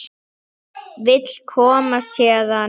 Vill komast héðan.